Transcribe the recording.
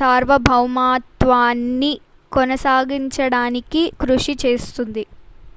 సార్వభౌమత్వాన్ని కొనసాగించడానికి కృషి చేస్తుంది